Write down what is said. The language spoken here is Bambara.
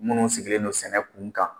Munnu sigilen don sɛnɛ kun kan